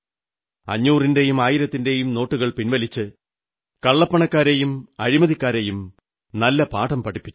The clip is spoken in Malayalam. അഞ്ഞൂറിന്റെയും ആയിരത്തിന്റെയും നോട്ടുകൾ പിൻവലിച്ച് കള്ളപ്പണക്കാരെയും അഴിമതിക്കാരെയും നല്ല പാഠം പഠിപ്പിച്ചു